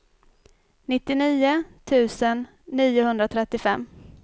nittionio tusen niohundratrettiofem